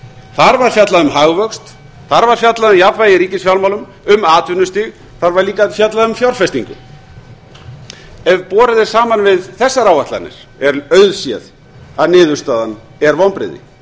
þar var fjallað um hagvöxt þar var fjallað um jafnvægi í ríkisfjármálum um atvinnustig þar var líka fjallað um fjárfestingu ef borið er saman við þessar áætlanir er auðséð að niðurstaðan er vonbrigði